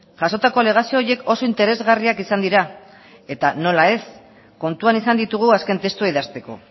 jasotako alegazio horiek oso interesgarriak izan dira eta nola ez kontuan izan ditugu azken testua idazteko